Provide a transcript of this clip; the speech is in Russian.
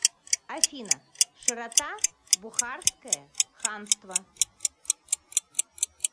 афина широта бухарское ханство